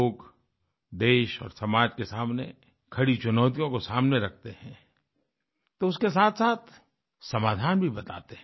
लोग देश और समाज के सामने खड़ी चुनौतियों को सामने रखते हैं तो उसके साथसाथ समाधान भी बताते हैं